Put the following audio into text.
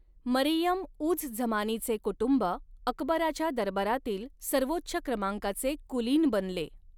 मरियम उझ झमानीचे कुटुंब अकबराच्या दरबारातील सर्वोच्च क्रमांकाचे कुलीन बनले.